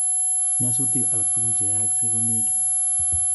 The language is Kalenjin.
Nyasutik alaktugul che yaaksei konegit